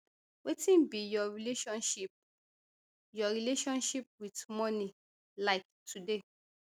wetin be your relationship your relationship wit money like today